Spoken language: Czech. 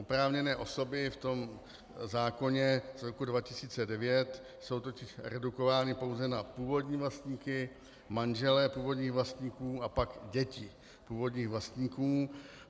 Oprávněné osoby v tom zákoně z roku 2009 jsou totiž redukovány pouze na původní vlastníky, manžele původních vlastníků a pak děti původních vlastníků.